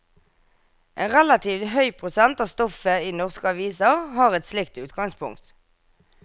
En relativt høy prosent av stoffet i norske aviser har et slikt utgangspunkt.